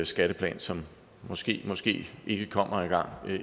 skatteplan som måske måske ikke kommer engang